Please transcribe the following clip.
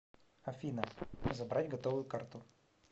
афина забрать готовую карту